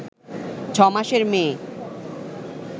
ছ’মাসের মেয়ে